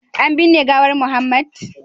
an binne gawar Muhammad